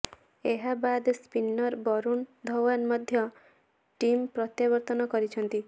ଏହା ବାଦ ସ୍ପିନର ବରୁଣ ଧାଓ୍ବନ ମଧ୍ୟ ଟିମ୍କୁ ପ୍ରତ୍ୟାବର୍ତ୍ତନ କରିଛନ୍ତି